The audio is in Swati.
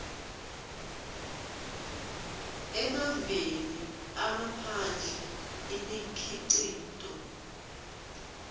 emaveni angaphandle imikhicito